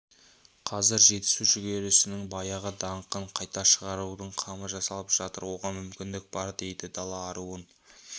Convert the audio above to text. қазір жетісу жүгерісінің баяғы даңқын қайта шығарудың қамы жасалып жатыр оған мүмкіндік бар дейді дала аруын